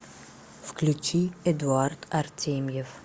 включи эдуард артемьев